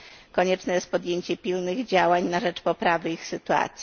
Konieczne jest podjęcie pilnych działań na rzecz poprawy ich sytuacji.